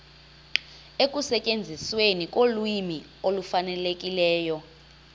ekusetyenzisweni kolwimi olufanelekileyo